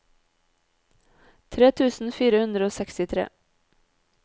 tre tusen fire hundre og sekstitre